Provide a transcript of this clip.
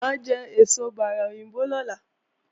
Mà á jẹ èso bárà òyìnbó lọ́la